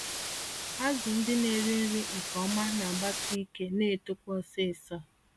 Azụ ndị na-eri nri nke ọma nagbasi ike, na netokwa ọsịsọ.